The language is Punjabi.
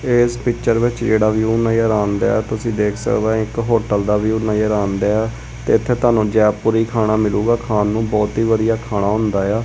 ਇਸ ਪਿਚਰ ਵਿੱਚ ਜਿਹੜਾ ਵਿਊ ਨਜ਼ਰ ਆਉਣ ਦਿਆ ਤੁਸੀਂ ਦੇਖ ਸਕਦੇ ਹੋ ਇੱਕ ਹੋਟਲ ਦਾ ਵਿਊ ਨਜ਼ਰ ਆਉਂਦਾ ਤੇ ਇੱਥੇ ਤੁਹਾਨੂੰ ਜੈਪੁਰੀ ਖਾਣਾ ਮਿਲੂਗਾ ਖਾਣ ਨੂੰ ਬਹੁਤ ਹੀ ਵਧੀਆ ਖਾਣਾ ਹੁੰਦਾ ਆ।